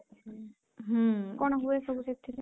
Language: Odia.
ହୁଁ କଣ ହୁଏ ସବୁ ସେଥିରେ?